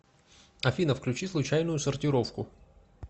афина включи случайную сортировку